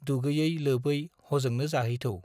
दुगैयै-लोबै हजोंनो जाहै थौ।